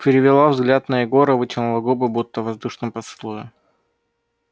перевела взгляд на егора вытянула губы будто в воздушном поцелуе